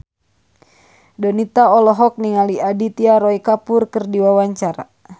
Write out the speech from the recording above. Donita olohok ningali Aditya Roy Kapoor keur diwawancara